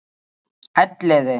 Elliði